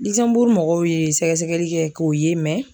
mɔgɔw ye sɛgɛsɛgɛli kɛ k'o ye